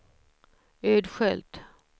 Ödskölt